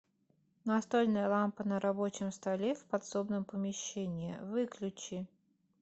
настольная лампа на рабочем столе в подсобном помещении выключи